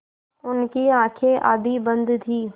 उनकी आँखें आधी बंद थीं